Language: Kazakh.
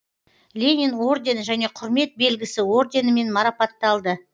ленин ордені және құрмет белгісі орденімен марапатталды